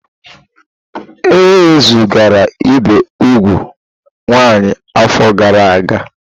E wezugara ibi úgwù nwaanyị afọ gara aga.